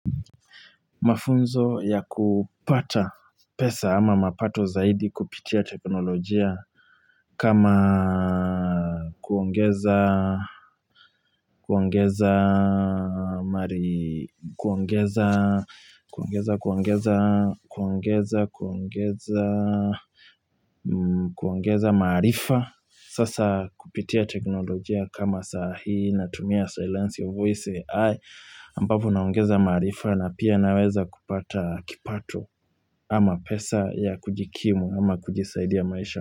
Mafunzo ya kupata pesa ama mapato zaidi kupitia teknolojia. Kama kuongeza, kuongeza, kuongeza, kuongeza, kuongeza, kuongeza, kuongeza, kuongeza kuongeza maarifa. Sasa kupitia teknolojia kama saa hii na tumia silence of voice AI. Ampapo naongeza maarifa na pia naweza kupata kipato ama pesa ya kujikimu ama pesa ya kusaidia maisha.